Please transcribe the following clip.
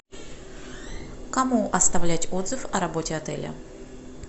кому оставлять отзыв о работе отеля